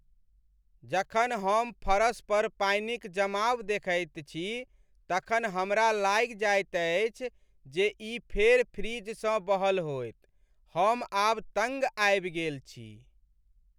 जखन हम फरस पर पानिक जमाव देखैत छी तखन हमरा लागि जाएत अछि जे ई फेर फ्रिजसँ बहल होएत। हम आब तङ्ग आबि गेल छी।